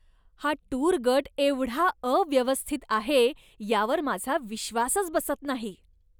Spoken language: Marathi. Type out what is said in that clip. हा टूर गट एवढा अव्यवस्थित आहे यावर माझा विश्वासच बसत नाही.